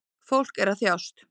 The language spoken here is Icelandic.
Fólk er að þjást